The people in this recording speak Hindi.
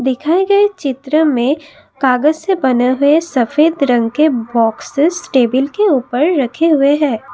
दिखाए गए चित्र में कागज से बने हुए सफेद रंग के बॉक्सस टेबल के ऊपर रखे हुए हैं।